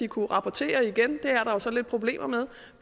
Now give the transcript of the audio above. kunne rapportere igen det er så lidt problemer med